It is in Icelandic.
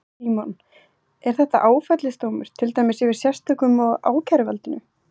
Símon: Er þetta áfellisdómur, til dæmis yfir sérstökum og ákæruvaldinu?